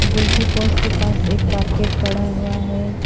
गोल की पोस्ट के पास एक बकेट पड़ा हुआ है।